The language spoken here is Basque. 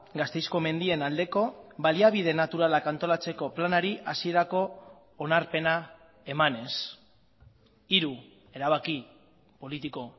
gasteizko mendien aldeko baliabide naturalak antolatzeko planari hasierako onarpena emanez hiru erabaki politiko